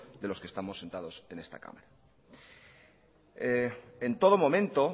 de lo que estamos sentados en esta cámara en todo momento